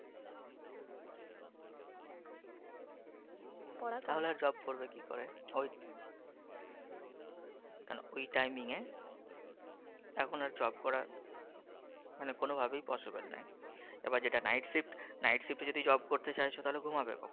তাহলে job করবে কী করে? ঐ ওই timing? এখন আর job করা মানে কোনও ভাবেই possible নয়। এবার যেটা, night shift যদি job করতে চায় তাহলে ঘুমাবে কখন?